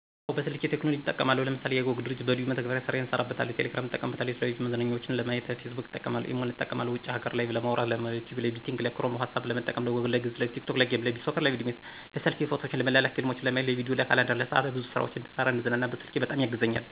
አወ በስልክ ቴክኖሎጅን እጠቀማለሁ ለምሳሌ:- የiCog ድርጅት በለዩን መተግበሪያ ስራየን እሰራበታለሁ፣ ቴሌግራምን እጠቀምበታለሁ፣ የተለያዩ መዝናኛዎችን ለማየት ፌስቡክን እጠቀምበታለሁ፣ ኢሞን እጠቀማለሁ ውጭ ሀገር ላይቨ ለማዉራት፣ ለዩቱብ፣ ለቤቲንግ ክሮም፣ ኋትሳፐ ለመጠቀም፣ ለጎግል፣ ለግዕዝ፣ ለቲክቶክ፣ ለጌም፣ ለቢሶከር፣ ለቪድሜት፣ ለሰልፊ፣ ፎቶዎችን ለመላላክ፣ ፊልሞችን ለማየት፣ ለቪዲዬ፣ ለካላንደር፣ ለሰዓት፣ ብዙ ስራዎች እንድሰራ፣ እንድዝናናበት ስልኬ በጣም ያግዘኛል።